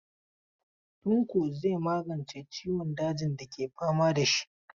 Tanko zai magance ciwon dajin dake fama da shi.